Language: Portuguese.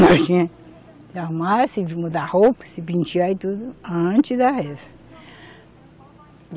Nós tinha que se arrumar, se mudar a roupa, se pentear e tudo, antes da reza.